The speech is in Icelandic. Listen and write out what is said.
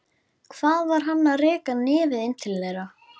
Hvað var hann að reka nefið inn til þeirra?